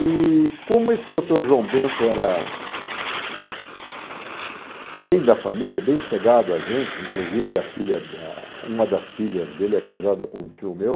E como esse doutor João Bento era bem da família, bem chegado a gente, inclusive a filha ah... uma das filhas dele é casada com um tio meu,